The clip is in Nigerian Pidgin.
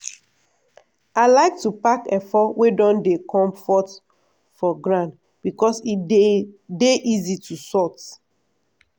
i like to pack efo wey don dey comfort for ground becos e dey dey easy to sort.